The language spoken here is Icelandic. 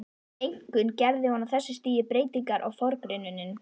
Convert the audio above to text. Einkum gerði hún á þessu stigi breytingar á forgrunninum.